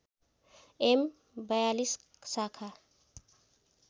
am ४२ शाखा